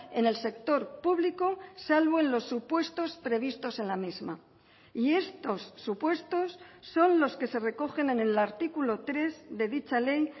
en el sector público salvo en los supuestos previstos en la misma y estos supuestos son los que se recogen en el artículo tres de dicha ley